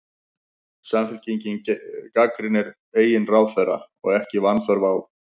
Slík vitneskja er nauðsynleg til þess að farsæl stjórn á fundinum megi takast.